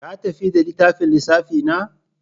Ka tafi da littafin lissafi na?